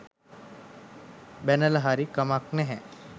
බැනලා හරි කමක් නැහැ.